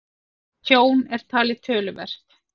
Tjón er talið töluvert